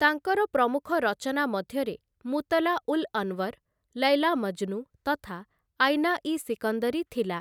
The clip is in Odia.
ତାଙ୍କର ପ୍ରମୁଖ ରଚନା ମଧ୍ୟରେ "ମୁତଲା ଉଲ୍ଅନୱର", "ଲୈଲା ମଜ୍‌ନୁ" ତଥା "ଆଇନା ଇ ସିକନ୍ଦରୀ" ଥିଲା ।